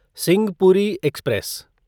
Simhapuri express